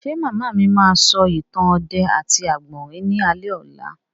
Ṣé màmá mi máa sọ ìtàn ọdẹ àti àgbọ̀rín ní alẹ́ ọ̀la?